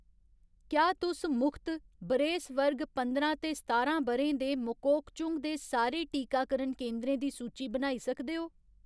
क्या तुस मुख्त बरेस वर्ग पंदरां ते सतारां ब'रें दे मोकोकचुंग दे सारे टीकाकरण केंदरें दी सूची बनाई सकदे ओ ?